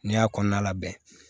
N'i y'a kɔnɔna labɛn